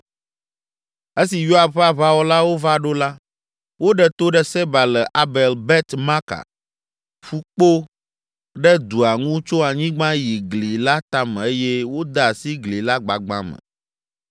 Esi Yoab ƒe aʋawɔlawo va ɖo la, woɖe to ɖe Seba le Abel Bet Maka, ƒu kpo ɖe dua ŋu tso anyigba yi gli la tame eye wode asi gli la gbagbã me.